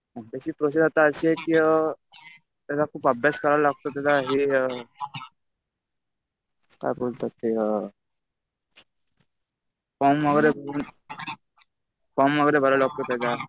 एमपीएससीची process आता अशी आहे कि त्याचा खूप अभ्यास करायला लागतो. त्याचा हे काय बोलतात ते फॉर्म वगैरे, फॉर्म वगैरे भरावा लागतो त्याचा.